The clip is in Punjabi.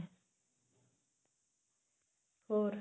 ਹੋਰ